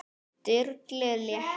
Sturlu létti.